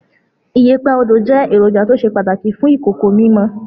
Iyẹ̀pẹ̀ Odo jẹ́ èròjà tó ṣe pàtàkì fún ìkòkò mímọ.